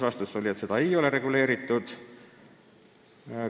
Vastus oli, et see ei ole reguleeritud.